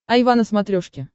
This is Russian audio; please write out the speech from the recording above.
айва на смотрешке